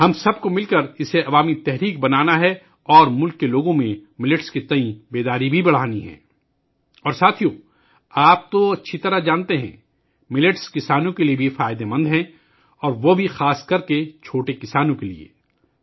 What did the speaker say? ہم سب کو مل کر اسے ایک عوامی تحریک بنانا ہے اور ملک کے لوگوں میں موٹے اناج کے تئیں بیداری بڑھانی ہے اور ساتھیو ، آپ اچھی طرح جانتے ہیں، ملٹ کسانوں کے لئے بھی فائدہ مند ہے اور وہ بھی خاص طور پر چھوٹے کسانوں کے لئے